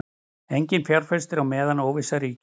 Enginn fjárfestir á meðan óvissa ríkir